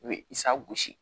U bɛ isa gosi